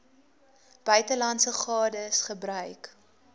buitelandse gades gebruik